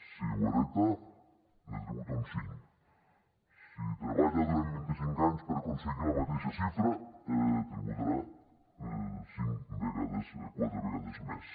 si ho hereta ne tributa un cinc si treballa durant vint i cinc anys per aconseguir la mateixa xifra tributarà quatre vegades més